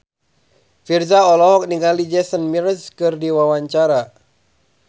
Virzha olohok ningali Jason Mraz keur diwawancara